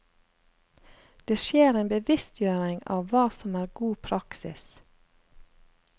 Det skjer en bevisstgjøring av hva som er god praksis.